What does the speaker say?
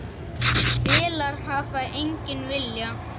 Vélar hafa engan vilja.